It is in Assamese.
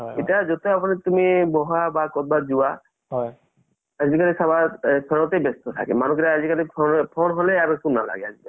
আৰু তাতে লগৰ কেইতায়ে download কৰিছে পৰা আৰু mobile ৰ পৰা লʼব লাগিব । মই পাহৰি গৈছিলো । আজি আপোনাৰ লগত কথা পাতিলোতো, মনত আহি গʼল । ভালে হʼল